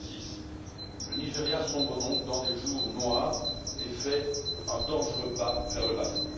2006. Le Nigeria sombre donc dans des jours noirs et fait un dangereux pas vers le passé.